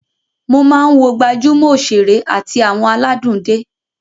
Mo máa ń wo gbajúmọ̀ òṣèré àti àwọn aládùn dé